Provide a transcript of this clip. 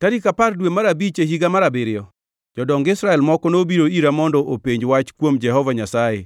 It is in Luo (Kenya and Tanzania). Tarik apar dwe mar abich e higa mar abiriyo, jodong Israel moko nobiro ira mondo openj wach kuom Jehova Nyasaye